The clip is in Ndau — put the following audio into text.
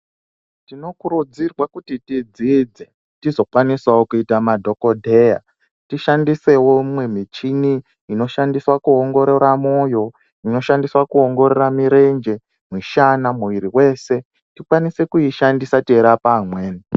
Tinokurudzirwa kuti tidzidze tizokwanisawo kuita madhokodheya, tishandisewo michini inoshandiswe kuongorora moyo, inoshandiswa kuongorora mirenje , mishana ,muviri yese tikwanise kuishandisa teirapa vamweni.